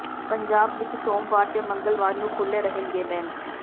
ਪੰਜਾਬ ਵਿਚ ਸੋਮਵਾਰ ਤੇ ਮੰਗਲਵਾਰ ਨੂੰ ਖੁਲੇ ਰਹਿਣਗੇ ਬੈਂਕ